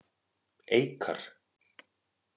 Eikar